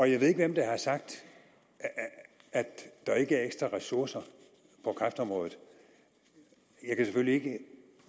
jeg ved ikke hvem der har sagt at der ikke er ekstra ressourcer på kræftområdet jeg kan selvfølgelig ikke